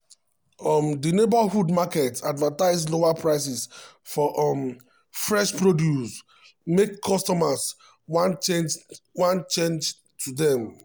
um di neighborhood market advertise lower prices for um fresh produce make um customers wan change wan change to dem.